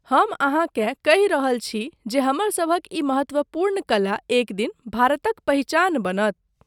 हम अहाँकेँ कहि रहल छी जे हमरसभक ई महत्त्वपूर्ण कला एकदिन भारतक पहिचान बनत।